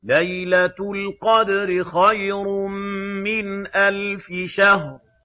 لَيْلَةُ الْقَدْرِ خَيْرٌ مِّنْ أَلْفِ شَهْرٍ